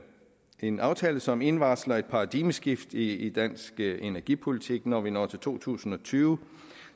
en aftale som indvarsler et paradigmeskift i dansk energipolitik når vi når til to tusind og tyve